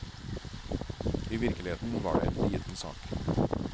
I virkeligheten var det en liten sak.